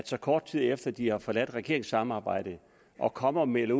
så kort tid efter at de har forladt regeringssamarbejdet kommer og melder